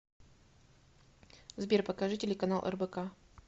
сбер покажи телеканал рбк